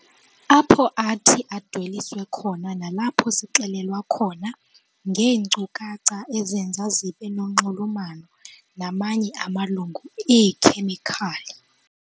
Apho athi adweliswe khona nalapho sixelelwa khona ngeenkcukacha ezenza zibe nonxulumano namanye amalungu eekhemikhali.